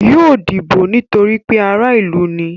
Yóò dìbò nítorí pé ará ìlú ni.